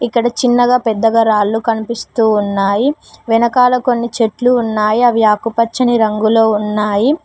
ఇక్కడ చిన్నగా పెద్దగా రాళ్లు కనిపిస్తూ ఉన్నాయి వెనకాల కొన్ని చెట్లు ఉన్నాయి అవి ఆకుపచ్చని రంగులో ఉన్నాయి.